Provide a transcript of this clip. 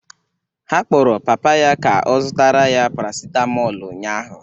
Ha kpọrọ papa ya ka ọ zụtara ya paracetmol ụnyahụ